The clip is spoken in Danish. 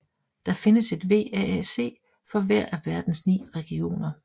Der findes et VAAC for hver af verdens 9 regioner